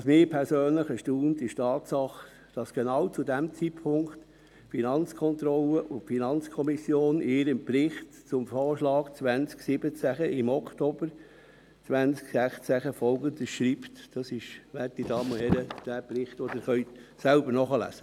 Was mich persönlich erstaunt, ist die Tatsache, dass die Finanzkontrolle und die FiKo genau zu diesem Zeitpunkt, nämlich im Oktober 2016, in ihrem Bericht zum Voranschlag 2017 Folgendes schreiben – Sie können dies, werte Damen und Herren, in diesem Bericht hier selbst nachlesen.